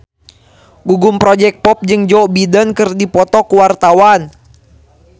Gugum Project Pop jeung Joe Biden keur dipoto ku wartawan